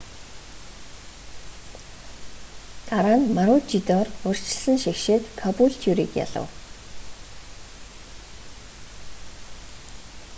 дараа нь марүүчидор урьдчилсан шигшээд кабүүлтюриг ялав